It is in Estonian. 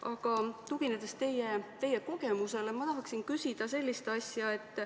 Aga ma tahaksin teie kogemusele tuginedes küsida sellist asja.